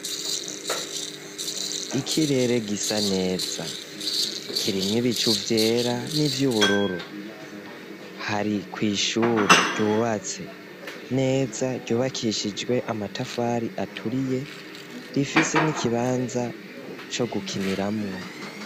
Ikirere gisa neza, kirimwo ibicu vyera n'ivy'ubururu; hari kw'ishure ryubatse neza, ryubakishijwe amatafari aturiye, rifise n'ikibanza co gukiniramwo.